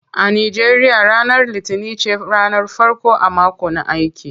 A Nigeria ranar litinin ce ranar farko a mako na aiki.